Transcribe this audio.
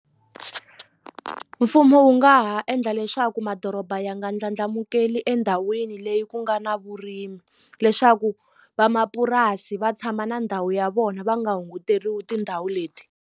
Mfumo wu nga ha endla leswaku madoroba ya nga ndlandlamukeli endhawini leyi ku nga na vurimi leswaku vamapurasi va tshama na ndhawu ya vona va nga hunguteriwi tindhawu leti.